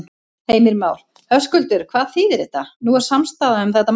Heimir Már: Höskuldur, hvað þýðir þetta, nú er samstaða um þetta mál?